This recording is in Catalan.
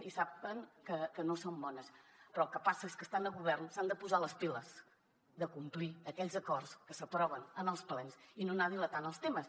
i saben que no són bones però el que passa és que estant a govern s’han de posar les piles de complir aquells acords que s’aproven en els plens i no anar dilatant els temes